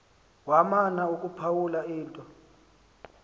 wamana ukuphawula into